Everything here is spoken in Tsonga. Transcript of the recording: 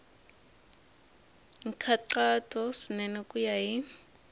nkhaqato swinene ku ya hi